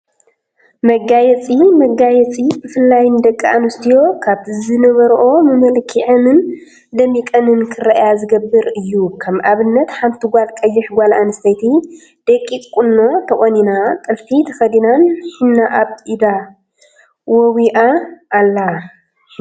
መጋየፂ መጋየፂ ብፍላይ ንደቂ አንስትዮ ካብቲ ዝነበረኦ መልኪዐንን ደሚቀንን ክረአያ ዝገብር እዩ፡፡ ከም አብነት ሓንቲ ቀያሕ ጓል አንስተይቲ ደቂቅ ቁኖ ተቆኒና፣ ጥልፊ ተከዲናን ሒና አብ ኢዳ ወዊአ አላ፡፡ ሒና ምውእ ትፈትዋ ዶ?